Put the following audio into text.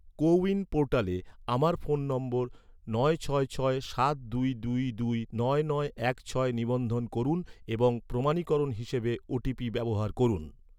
কো win পোর্টালে, আমার phone number, নয় ছয় ছয় সাত দুই দুই দুই নয় নয় এক ছয় নিবন্ধন করুন এবং প্রমাণীকরণ হিসাবে, ওটিপি ব্যবহার করুন